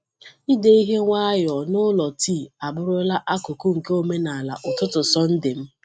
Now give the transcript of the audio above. Ide ihe nwayọọ n’ụlọ tii abụrụla akụkụ nke omenala ụtụtụ Sọnde m.